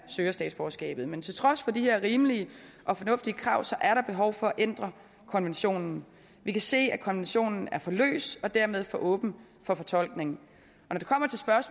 søger statsborgerskab men til trods for de her rimelige og fornuftige krav er der behov for at ændre konventionen vi kan se at konventionen er for løs og dermed for åben for fortolkning